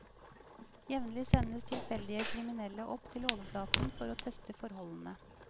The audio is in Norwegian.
Jevnlig sendes tilfeldige kriminelle opp til overflaten for å teste forholdene.